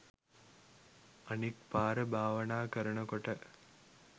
අනික් පාර භාවනා කරනකොට